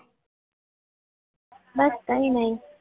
બસ કહીને કંઈ નહીં